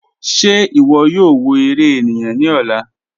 Ṣẹ̀ ìwọ̀ yóò wọ̀ èrè ènìyàn ni ọ̀lá?"